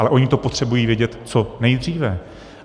Ale oni to potřebují vědět co nejdříve.